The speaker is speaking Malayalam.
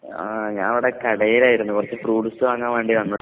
ആഹ് ഞാവടെ കടേലായിരുന്നു. കൊറച്ച് ഫ്രൂട്ട്സ് വാങ്ങാവ്വേണ്ടി വന്ന